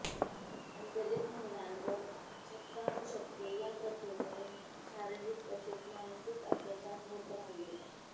पण दलित महिलांवर शतकानुशतके या प्रथेमुळे शारीरिक तसेच मानसिक अत्याचार होत राहिले